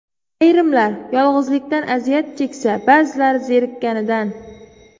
Ayrimlar yolg‘izlikdan aziyat cheksa, ba’zilari zerikkanidan.